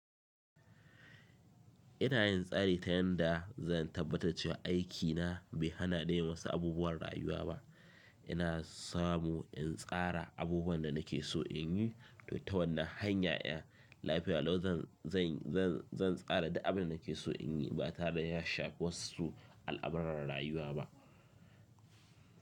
Ina yin tsari ta yanda zan tabbatar cewa aikina bai hana ni yi wa su abubuwan rayuwa ba. Ina samu in tsara abubuwan da nake so in yi, to ta wannan hanya, 'yan lafiya law zan, zan, zan, zan tsara duk abin da nake so in yi ba tare da ya shafi wasu al'amuran rayuwa ba.